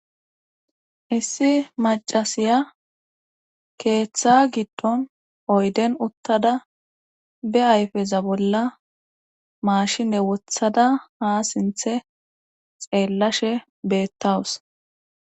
issi macasiya keeththa giddon oyden uttada be ayfeza bolla maashine wothada ha sinthe xeellashe beettawus.